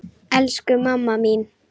Elsku mamma mín.